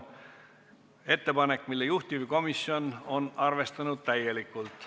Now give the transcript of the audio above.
See on ettepanek, mida juhtivkomisjon on arvestanud täielikult.